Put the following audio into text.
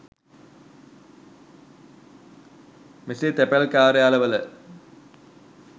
මෙසේ තැපැල් කාර්යාලවල